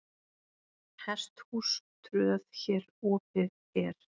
Hesthús tröð hér opið er.